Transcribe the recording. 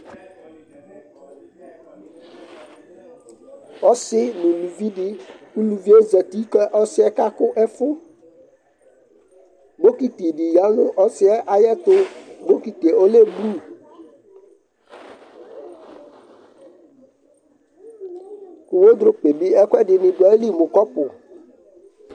Ɔsɩ nʋ uluvi dɩ Uluvi yɛ zati kʋ ɔsɩ yɛ kakʋ ɛfʋ Bokiti dɩ ya nʋ ɔsɩ yɛ ayɛtʋ Bokiti yɛ ɔlɛ blu kʋ wedropu yɛ bɩ ɛkʋɛdɩnɩ dʋ ayili mʋ kɔpʋ